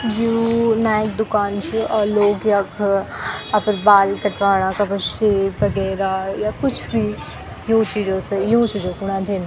यु नाई की दुकान च और लोग यख अपड बाल कटवाणा अपड शेव वगैरा या कुछ भी यूँ चीजो से यूँ चीजू खुण अन्दीन।